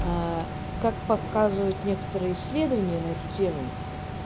как показывают некоторые исследования на эту тему